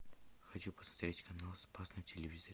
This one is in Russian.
хочу посмотреть канал спас на телевизоре